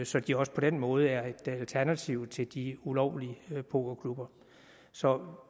så de også på den måde er et alternativ til de ulovlige pokerklubber så